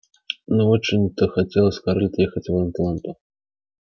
не очень-то хотелось скарлетт ехать в атланту